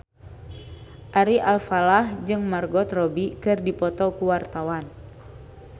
Ari Alfalah jeung Margot Robbie keur dipoto ku wartawan